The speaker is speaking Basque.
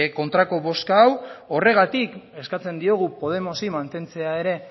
kontrako bozka hau horregatik eskatzen diogu podemosi mantentzea ere